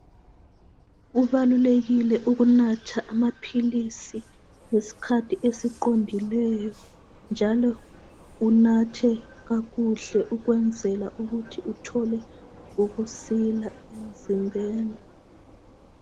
Kubalulekile ukunatha amaphilisi ngesikhathi esiqondileyo njalo unathe kakuhle ukwenzela ukuthi uthole ukusila emzimbeni.